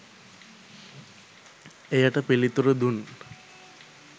එයට පිලිතුරු දුන්